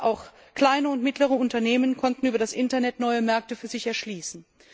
Gerade auch kleine und mittlere Unternehmen konnten über das Internet neue Märkte für sich erschließen.